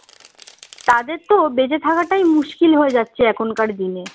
তাদের তো বেঁচে থাকাটাই মুশকিল হয়ে যাচ্ছে এখনকার দিনে